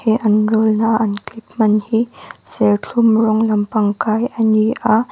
he an roll na a an clip hman hi serthlum rawng lampang kai a ni a.